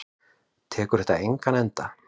Tekur þetta engan enda?